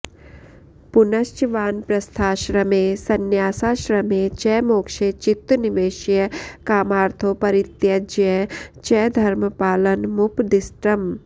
पुनश्च वानप्रस्थाश्रमे संन्यासाश्रमे च मोक्षे चित्त निवेश्य कामार्थौ परित्यज्य च धर्मपालनमुपदिष्टम्